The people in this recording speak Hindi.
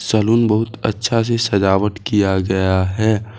सैलून बहुत अच्छा से सजावट किया गया है।